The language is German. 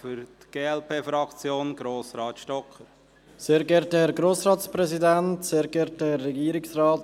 Für die glp-Fraktion spricht Grossrat Stocker.